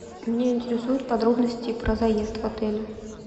меня интересуют подробности про заезд в отеле